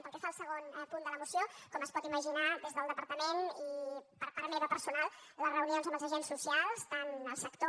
pel que fa al segon punt de la moció com es pot imaginar des del departament i per part meva personal les reunions amb els agents socials tant el sector